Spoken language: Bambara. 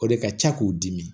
O de ka ca k'u dimi